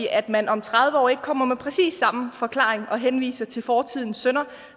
at man om tredive år ikke kommer med præcis samme forklaring og henviser til fortidens synder